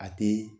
A tɛ